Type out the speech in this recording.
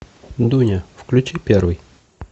дуня включи первый